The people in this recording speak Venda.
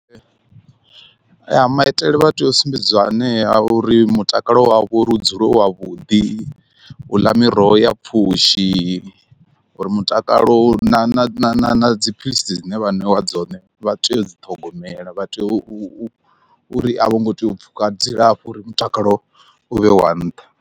Ya maitele vha tea u sumbedziwa anea a uri mutakalo wavho uri u dzule wavhuḓi, u ḽa miroho ya pfhushi, uri mutakalo u na na na dziphilisi dzine vha ṋewa dzone vha tea u dzi ṱhogomela vha tea u u u ri a vho ngo tea u pfhuka dzilafho uri mutakalo u vhe wa nṱha.